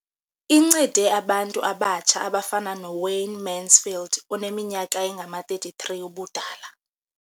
Incede abantu abatsha abafana noWayne Mansfield oneminyaka engama-33 ubudala.